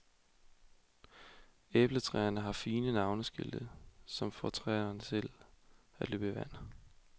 Æbletræerne har fine navneskilte, som får tænderne til at løbe i vand.